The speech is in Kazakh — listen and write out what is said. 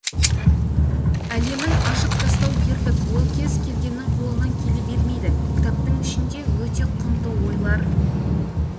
әлемін ашып тастау ерлік ол кез келгеннің қолынан келе бермейді кітаптың ішінде өте құнды ойлар